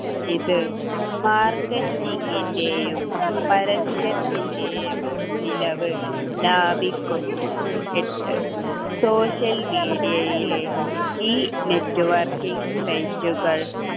ഇത് marketing ൻ്റെയും പരസ്യത്തിൻ്റെയും ചിലവ് ലാഭിക്കുന്നു എട്ട് social media യിലെ ഈ networking site കൾ